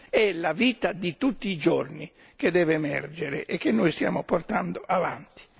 È la vita di tutti i giorni che deve emergere e che noi stiamo portando avanti.